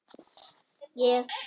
Ég fer ekki neitt.